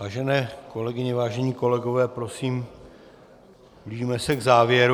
Vážené kolegyně, vážení kolegové, prosím blížíme se k závěru.